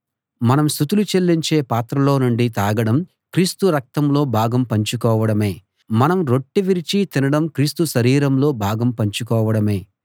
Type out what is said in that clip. మనం స్తుతులు చెల్లించే పాత్రలో నుండి తాగడం క్రీస్తు రక్తంలో భాగం పంచుకోవడమే మనం రొట్టె విరిచి తినడం క్రీస్తు శరీరంలో భాగం పంచుకోవడమే